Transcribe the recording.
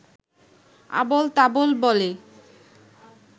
আবোলতাবোল বলে